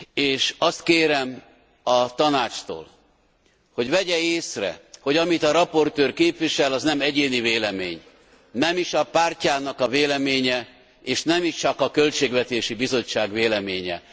És azt kérem a Tanácstól, hogy vegye észre, hogy amit a rapporteur képvisel, az nem egyéni vélemény, nem is a pártjának a véleménye, és nem is csak a Költségvetési Bizottság véleménye.